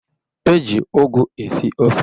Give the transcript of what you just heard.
E ji ụgụ esi ofe